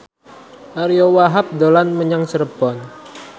Ariyo Wahab dolan menyang Cirebon